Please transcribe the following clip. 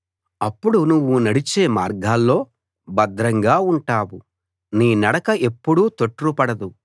అప్పుడు నువ్వు నడిచే మార్గాల్లో భద్రంగా ఉంటావు నీ నడక ఎప్పుడూ తొట్రుపడదు